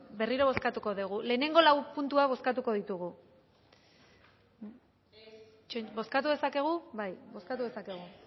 berriro bozkatuko dugu lehenengo lau puntuak bozkatuko ditugu bozkatu dezakegu bai bozkatu dezakegu